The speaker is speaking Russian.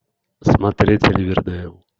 смотреть ривердейл